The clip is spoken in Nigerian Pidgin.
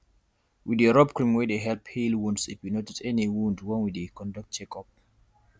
we dey rub cream wey dey help heal wounds if we notice any wound when we dey conduct check up